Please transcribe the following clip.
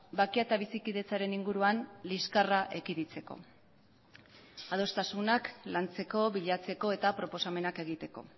bakea eta bizikidetzaren inguruan liskarra ekiditeko adostasunak lantzeko bilatzeko eta proposamenak egiteko